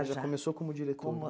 Ah, já começou como diretora. Como